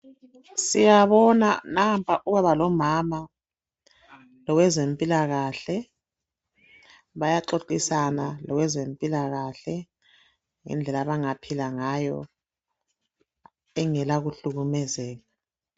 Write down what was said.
Siyabona nampa ubaba lomama lowezempilakahle. Bayaxoxisana lowezempilakahle ngendlela abangaphila ngayo engela kuhlukumezeka.